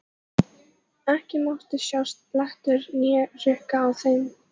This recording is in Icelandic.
Ekki mátti sjást blettur né hrukka á þeim.